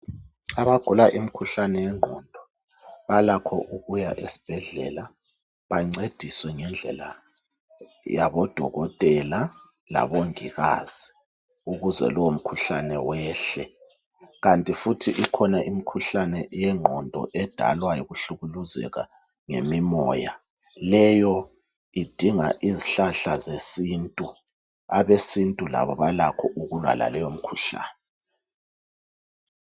Abagula imikhuhlane yengqondo balakho ukuya esibhedlela bancediswe ngendlela yaboDokotela labongikazi ukuze lo mkhuhlane wehle, kanti futhi ikhona imikhuhlane yengqondo edalwa yikuhlukuluzeka ngemimoya, leyo idinga izihlahla zesintu abesintu labo balakho ukulwa laleyo mikhuhlane.